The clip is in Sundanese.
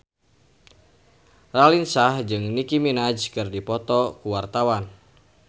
Raline Shah jeung Nicky Minaj keur dipoto ku wartawan